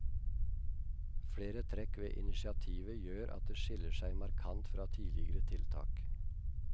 Flere trekk ved initiativet gjør at det skiller seg markant fra tidligere tiltak.